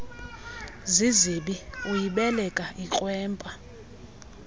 zizibi uyibeleka ikrwempa